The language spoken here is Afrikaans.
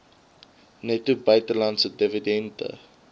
netto buitelandse dividende